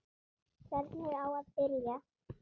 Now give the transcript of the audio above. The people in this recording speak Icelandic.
Hvernig á að byrja?